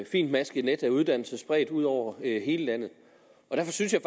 fintmasket net af uddannelser spredt ud over hele landet derfor synes jeg